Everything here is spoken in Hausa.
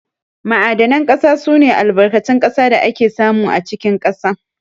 Ma'adanan ƙasa sune Albarkatun ƙasa da ake samu a cikin ƙasa.